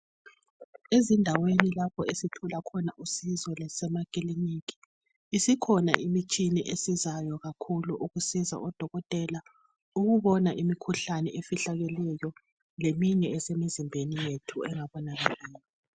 Ezindaweni lapho esithola khona usizo lasemakiliniki isikhona imitshini esizayo kakhulu ukusiza odokotela ukubona imikhuhlane efihlakeleyo leminye esemizimbeni yethu engabonakaliyo.